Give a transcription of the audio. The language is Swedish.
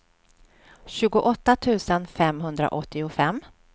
tjugoåtta tusen femhundraåttiofem